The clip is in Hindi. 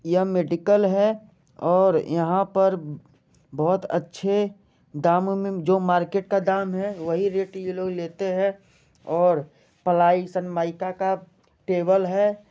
यह मेडिकल है और यहाँ पर बहुत अच्छे दाम में जो मार्केट का दाम है वही रेट ये लोग लेते है और प्लाई संमैका का टेबल है।